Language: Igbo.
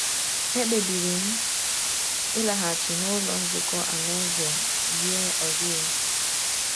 Ekpebiri m ịlaghachi n’Ụlọ Nzukọ Alaeze Yeovil.